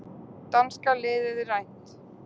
Danska liðið rænt